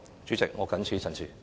主席，我謹此陳辭。